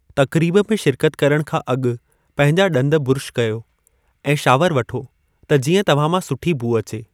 तक़रीब में शिरकत करण खां अॻु पंहिंजा ॾंद ब्रुशु कर्यो ऐं शॉवर वठो त जीअं तव्हां मां सुठी बू अचे।